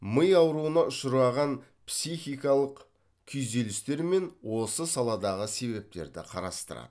ми ауруына ұшыраған психикалық күйзелістер мен осы саладағы себептерді қарастырады